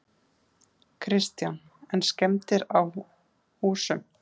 Kristján: En skemmdir á húsum?